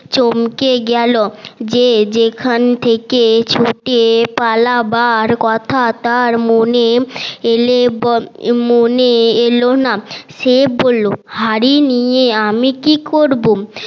চমকে গেলো যে যেখান থেকে ছুটে পালাবার কথা তার মনে এলে মনে এলো না সে বললো হাড়ি নিয়ে আমি কি করবো